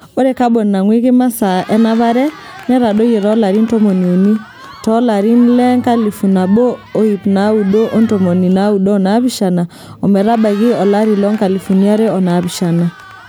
Ore kabon nangweiki masaa enapare netadoyie toolarin tomoniuni toolarin le 1997 ometabaiki 2007.